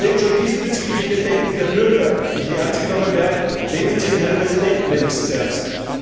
Und wenn schon diesbezügliche Bedenken der Bürger nicht ernst genommen werden, nehmen Sie den Herrn Präsidenten wenigstens ernst?